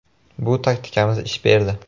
Bu taktikamiz ish berdi.